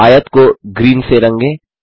आयत को ग्रीन से रंगे